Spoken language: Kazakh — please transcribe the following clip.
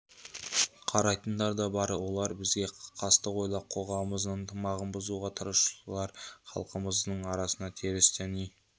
қарайтындар да бар олар бізге қастық ойлап қоғамымыздың ынтымағын бұзуға тырысушылар халқымыздың арасына теріс діни